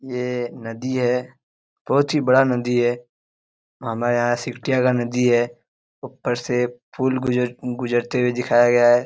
ये नदी है बहुत ही बड़ा नदी है हमारे यहां सिकटिया का नदी है ऊपर से फूल गुजरते गुजरते हुए दिखाया गया है ।